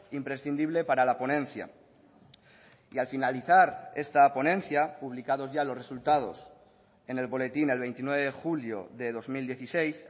imprescindible para la ponencia y al finalizar esta ponencia publicados ya los resultados en el boletín el veintinueve de julio de dos mil dieciséis